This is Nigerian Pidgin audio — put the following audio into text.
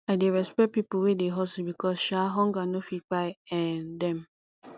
i dey respect pipo wey dey hustle because um hunger no fit kpai um dem